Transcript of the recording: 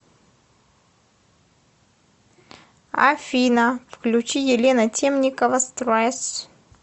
афина включи елена темникова стресс